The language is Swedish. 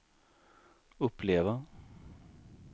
uppleva